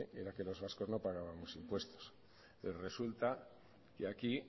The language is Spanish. era que los vascos no pagábamos impuestos y resulta que aquí